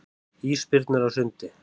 Ísbirnir á sundi.